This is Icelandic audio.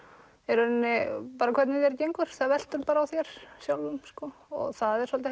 í rauninni bara hvernig þér gengur það veltur bara á þér sjálfum sko og það er svolítið